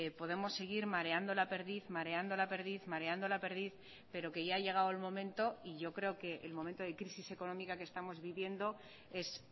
podemos seguir mareando la perdiz mareando la perdiz mareando la perdiz pero que ya ha llegado el momento y yo creo que el momento de crisis económica que estamos viviendo es